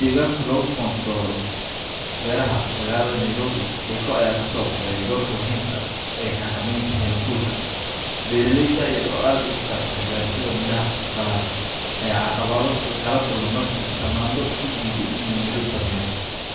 Daganka laga controlo baraha magalada naribi shegka aya ka sobaxda dorka muhiimka aa xagamanta a harkurka, baralayda dayar oo aad igu faraxsan barashada miraha aya aqawado kalal kuma marki tamando udiidaa miro samayo